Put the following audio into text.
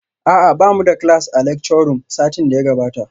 A'a bamu da class a lecture room satin da ya gabata